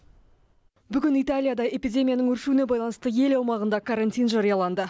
бүгін италияда эпидемияның өршуіне байланысты ел аумағында карантин жарияланды